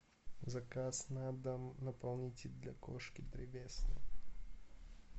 заказ на дом наполнитель для кошки древесный